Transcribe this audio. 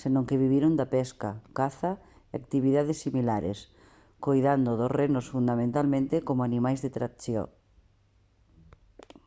senón que viviron da pesca caza e actividades similares coidando dos renos fundamentalmente como animais de tracción